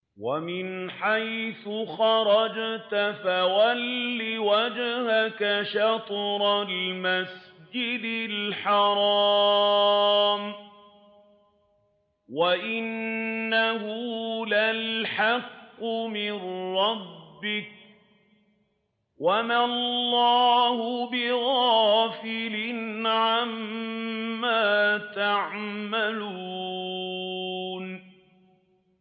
وَمِنْ حَيْثُ خَرَجْتَ فَوَلِّ وَجْهَكَ شَطْرَ الْمَسْجِدِ الْحَرَامِ ۖ وَإِنَّهُ لَلْحَقُّ مِن رَّبِّكَ ۗ وَمَا اللَّهُ بِغَافِلٍ عَمَّا تَعْمَلُونَ